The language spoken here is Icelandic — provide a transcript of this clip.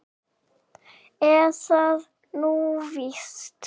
Er það nú víst?